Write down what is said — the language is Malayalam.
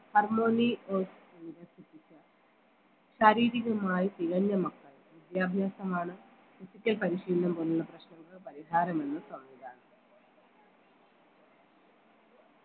harmony of ശാരീരികമായി തികഞ്ഞ മക്കൾ വിദ്യാഭ്യാസമാണ് physical പരിശീലനം പോലുള്ള പ്രശ്നങ്ങൾ പരിഹാരമെന്ന് സംവിധാനം